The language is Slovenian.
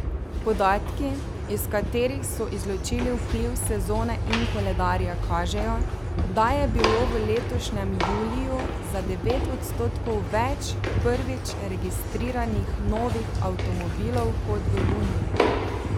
Podatki, iz katerih so izločili vpliv sezone in koledarja, kažejo, da je bilo v letošnjem juliju za devet odstotkov več prvič registriranih novih avtomobilov kot v juniju.